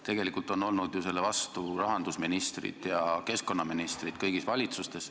Tegelikult on olnud ju selle vastu rahandusministrid ja keskkonnaministrid kõigis valitsustes.